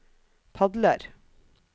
padler